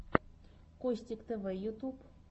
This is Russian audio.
костик тв ютуб